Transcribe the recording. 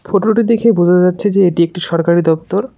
Photo -টি দেখে বোঝা যাচ্ছে যে এটি একটি সরকারি দপ্তর।